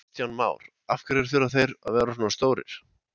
Kristján Már: Af hverju þurfa þeir að vera svona stórir?